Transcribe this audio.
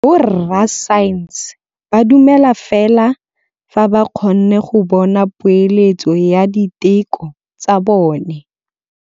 Borra saense ba dumela fela fa ba kgonne go bona poeletsô ya diteko tsa bone.